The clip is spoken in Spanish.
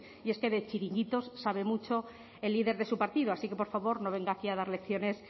y es que de chiringuitos sabe mucho el líder de su partido así que por favor no venga aquí a dar lecciones